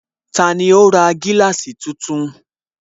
Tani ó ra gíláàsì tuntun?